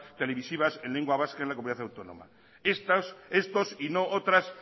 televisivas en lengua vasca en la comunidad autónoma vasca estos y no otras